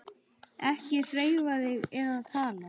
Ekki hreyfa þig eða tala.